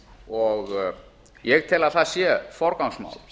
og ég tel að það sé forgangsmál